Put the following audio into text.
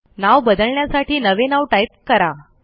नाव बदलण्यासाठी नवे नाव टाईप करा